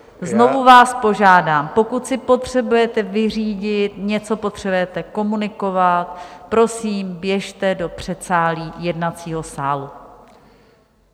Znovu vás požádám, pokud si potřebujete vyřídit, něco potřebujete komunikovat, prosím, běžte do předsálí jednacího sálu.